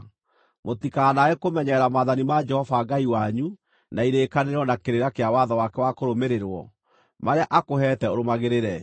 Mũtikanaage kũmenyerera maathani ma Jehova Ngai wanyu, na irĩkanĩro, na kĩrĩra kĩa watho wake wa kũrũmĩrĩrwo, marĩa akũheete ũrũmagĩrĩre.